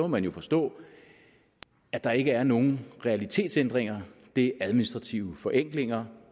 man jo forstå at der ikke er nogen realitetsændringer det er administrative forenklinger